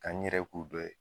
Ka n yɛrɛ k'u dɔ ye.